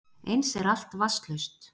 Eins er allt vatnslaust